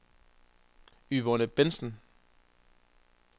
Yvonne Bentsen